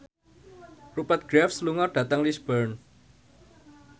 Rupert Graves lunga dhateng Lisburn